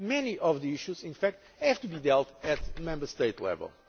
Many of the issues, in fact, have to be dealt with at Member State